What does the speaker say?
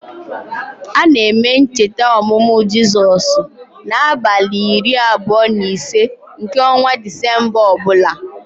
A na-eme ncheta ọmụmụ Jizọs n' abalị iri abụọ na ise nke ọnwa disemba ọbụla